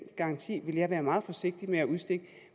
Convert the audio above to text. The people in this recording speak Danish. garanti vil jeg være meget forsigtig med at udstikke